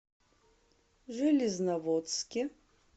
железноводске